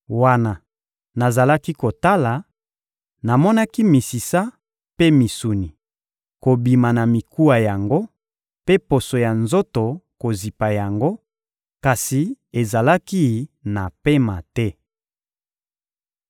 Wana nazalaki kotala, namonaki misisa mpe misuni kobima na mikuwa yango mpe poso ya nzoto kozipa yango, kasi ezalaki na pema te.